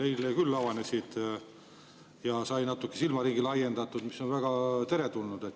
Eile küll avanesid ja sai natuke silmaringi laiendatud, mis on väga teretulnud.